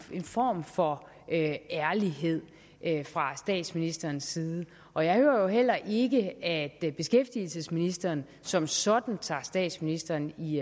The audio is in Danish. form for ærlighed fra statsministerens side og jeg hører jo heller ikke at beskæftigelsesministeren som sådan tager statsministeren i